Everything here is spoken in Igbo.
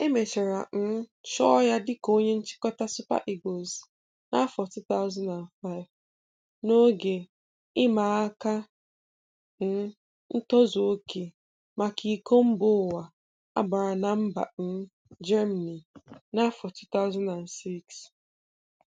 E mechara um chụọ ya dịka onye nchịkọta Super Eagles n'afọ 2005, n'oge ị ma áká um ntozụoke, maka ịko Mba Ụwa a gbara na mba um Germany n'afọ 2006.